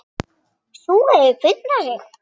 Sú hefur puntað sig!